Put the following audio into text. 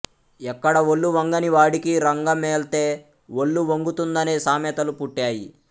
ఎక్కడా ఒళ్ళు వంగని వాడికి రంగమెళ్తే ఒళ్లు వంగుతుందనే సామెతలు పుట్టాయి